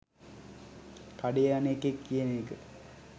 කඩේ යන එකෙක් කියන එක